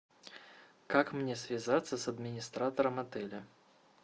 как мне связаться с администратором отеля